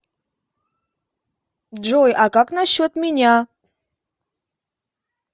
джой а как насчет меня